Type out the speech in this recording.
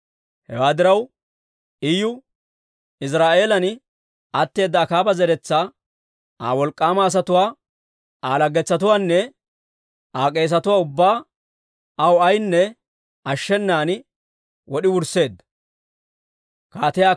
Hewaa diraw, Iyu Iziraa'eelan atteeda Akaaba zeretsaa, Aa wolk'k'aama asatuwaa, Aa laggetsatuwaanne Aa k'eesetuwaa ubbaa, aw ayaanne ashshenan wod'i wursseedda.